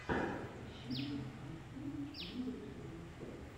последний эпизод рианна